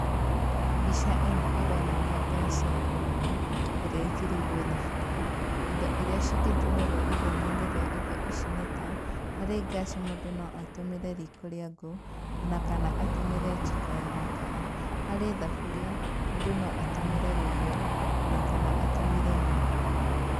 Mbica ĩno ĩronania gas ya kũruga, ĩrĩa ĩigĩrĩirũo thaburia. Indo iria cingĩtũmĩrwo ithenya-inĩ rĩa indo ici nĩ ta, harĩ gas mũndũ no atũmĩre riiko rĩa ngũũ, ona kana atũmĩre njiko ya makara. Harĩ thaburia, mũndũ no atũmĩre rũgĩo, ona kana atũmĩre nyũngũ.